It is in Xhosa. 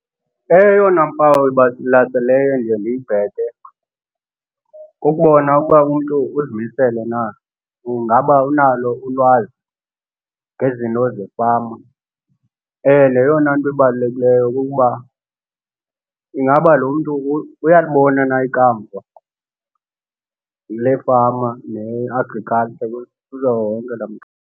Eyona mpawu ibalaseleyo endiye ndiyibheke kukubona uba umntu uzimisele na. Ingaba unalo ulwazi ngezinto zefama? And eyona nto ibalulekileyo kukuba, ingaba lo mntu uyalibona na ikamva lefama ne-agriculture laa mntu?